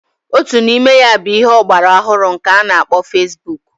Otu n'ime ya bụ ihe ọgbara ọhụrụ k'a na-akpọ fesbuk.